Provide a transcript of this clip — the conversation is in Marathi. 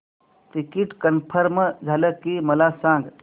टिकीट कन्फर्म झाले की मला सांग